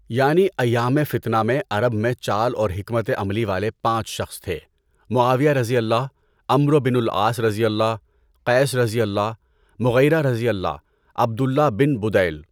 یعنی ایامِ فتنہ میں عرب میں چال اور حکمت عملی والے پانچ شخص تھے، Muawiya, Amr ibn al Aas, Qais, Mughira, Abdullah bin Budail